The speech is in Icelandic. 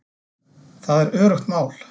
Það er öruggt mál